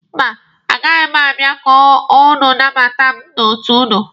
Mba, a gaghị m abịa ka ụnụ nabata mụ n'otu ụnụ.